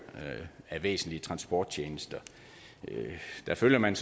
af væsentlige transporttjenester der følger man